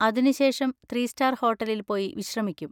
അതിന് ശേഷം three star ഹോട്ടലിൽ പോയി വിശ്രമിക്കും.